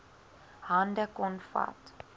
hande kon vat